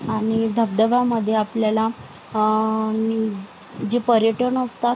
आणि धबधबा मध्ये आपल्याला अ जे पर्यटन असतात.